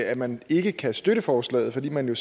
at man ikke kan støtte forslaget fordi man